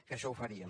que això ho faríem